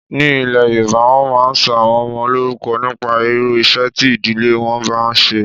Ní ilé yoòbá, wọ́n máa n sọ àwọn ọmọ lórúkọ nípa irú iṣẹ́ tí ìdílé wọn máa n ṣe